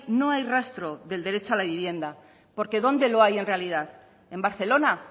no hay rastro del derecho a la vivienda porque dónde lo hay en realidad en barcelona